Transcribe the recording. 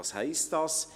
Was heisst dies?